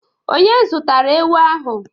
Onye zụtara ewu ahụ?